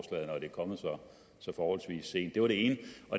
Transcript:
kommet så forholdsvis sent det var det ene